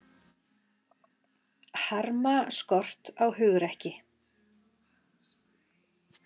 Harma skort á hugrekki